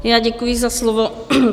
Já děkuji za slovo.